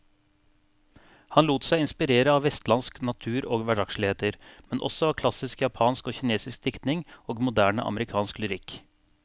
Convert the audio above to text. Han lot seg inspirere av vestlandsk natur og hverdagsligheter, men også av klassisk japansk og kinesisk diktning og moderne amerikansk lyrikk.